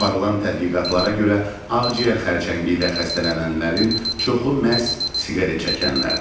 Aparılan tədqiqatlara görə ağciyər xərçəngi ilə xəstələnənlərin çoxu məhz siqaret çəkənlərdir.